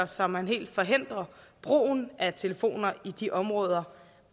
så man helt forhindrer brugen af telefoner i de områder